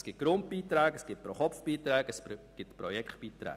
Es gibt Grundbeiträge, es gibt Pro-Kopf-Beiträge, es gibt Projektbeiträge.